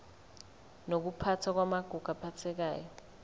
nokuphathwa kwamagugu aphathekayo